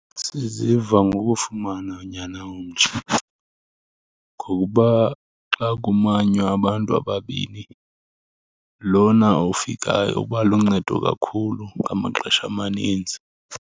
Siziva ngokufumana unyana omtsha, ngokuba xa kumanywa abantu ababini lona ofikayo uba luncedo kakhulu ngamaxesha amaninzi.